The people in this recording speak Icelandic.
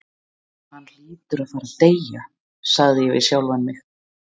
Hann hlýtur að fara að deyja, sagði ég við sjálfan mig.